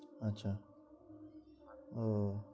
আচ্ছা, ও